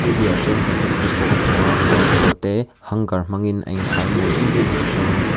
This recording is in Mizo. a piahah chuan jacket te pawh ka hmu a kawr pawl te hanger hmang in a inkhai mawi em em hlawm a ni.